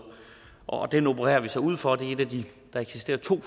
og den opererer vi så ud fra der eksisterer to